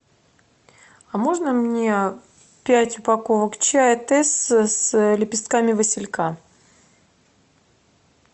а можно мне пять упаковок чая тесс с лепестками василька